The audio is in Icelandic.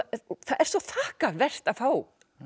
er svo þakkarvert að fá